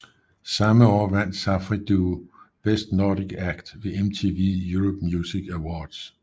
Samme år vandt Safri Duo Best Nordic Act ved MTV Europe Music Awards